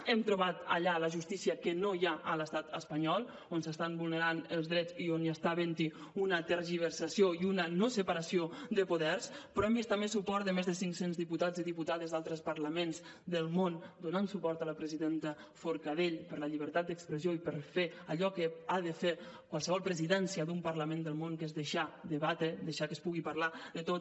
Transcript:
hem trobat allà la justícia que no hi ha a l’estat espanyol on s’estan vulnerant els drets i on està havent hi una tergiversació i una no separació de poders però hem vist també suport de més de cinc cents diputats i diputades d’altres parlaments del món donant suport a la presidenta forcadell per la llibertat d’expressió i per fer allò que ha de fer qualsevol presidència d’un parlament del món que és deixar debatre deixar que es pugui parlar de tot